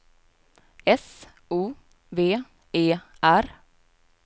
S O V E R